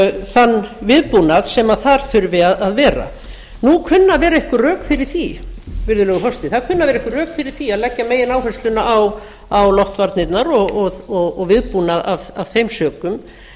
þann viðbúnað sem þar þurfi að vera nú kunna að vera einhver rök fyrir því virðulegur forseti að leggja megináhersluna á loftvarnirnar og viðbúnað af þeim sökum